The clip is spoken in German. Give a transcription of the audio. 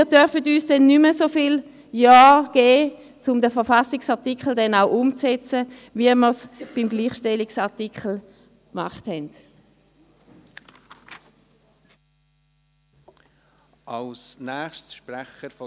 Wir dürfen uns auch nicht mehr so viele Jahre Zeit geben, um den Verfassungsartikel umzusetzen, wie wir es beim Gleichstellungsartikel getan haben.